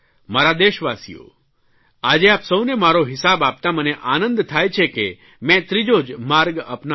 મારા દેશવાસીઓ આજે આપ સૌને મારો હિસાબ આપતાં મને આનંદ થાય છે કે મેં ત્રીજો જ માર્ગ અપનાવ્યો